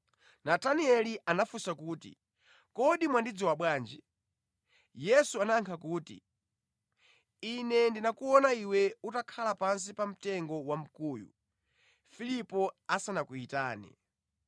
Natanieli anafunsa kuti, “Kodi mwandidziwa bwanji?” Yesu anayankha kuti, “Ine ndinakuona iwe utakhala pansi pamtengo wamkuyu Filipo asanakuyitane.”